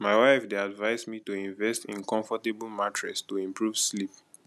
my wife dey advise me to invest in comfortable mattress to improve sleep